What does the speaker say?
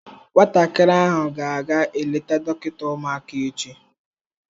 Nwatakịrị ahụ ga-aga eleta dọkịta ụmụaka echi.